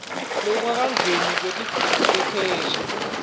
lolungakeneli lwetidzingo tetheksthi